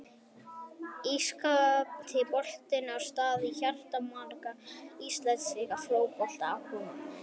Ítalski boltinn á stað í hjarta margra íslenskra fótboltaáhugamanna.